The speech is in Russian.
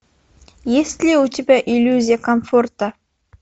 есть ли у тебя иллюзия комфорта